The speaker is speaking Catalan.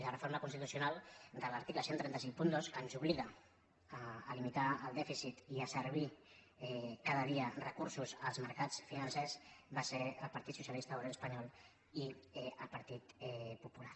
la reforma constitucional de l’article tretze cinquanta dos que ens obliga a limitar el dèficit i a servir cada dia recursos als mercats financers van ser el partit socialista obrer espanyol i el partit popular